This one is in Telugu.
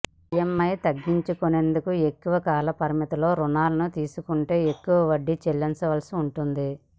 ఈఎమ్ఐ తగ్గించుకునేందుకు ఎక్కువ కాలపరిమితో రుణాలను తీసుకుంటే ఎక్కువ వడ్డీ చెల్లించాల్సి ఉంటుంది